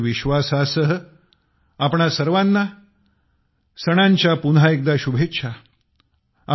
याच विश्वासासह तुम्हा सर्वाना सणांच्या पुन्हा एकदा शुभेच्छा